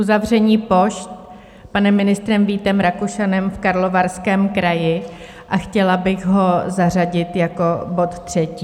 Uzavření pošt panem ministrem Vítem Rakušanem v Karlovarském kraji a chtěla bych ho zařadit jako bod třetí.